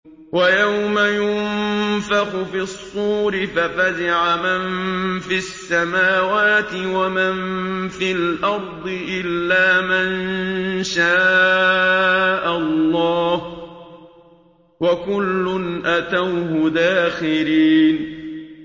وَيَوْمَ يُنفَخُ فِي الصُّورِ فَفَزِعَ مَن فِي السَّمَاوَاتِ وَمَن فِي الْأَرْضِ إِلَّا مَن شَاءَ اللَّهُ ۚ وَكُلٌّ أَتَوْهُ دَاخِرِينَ